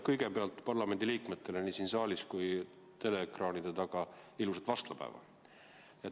Kõigepealt parlamendiliikmetele nii siin saalis kui ka teleekraanide taga: ilusat vastlapäeva!